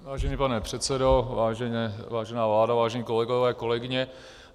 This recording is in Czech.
Vážený pane předsedo, vážená vládo, vážení kolegové, kolegyně.